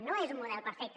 no és un model perfecte